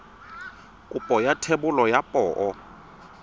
kopo ya thebolo ya poo